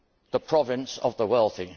the province of the wealthy.